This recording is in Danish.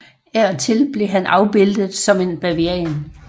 Af og til blev han afbildet som en bavian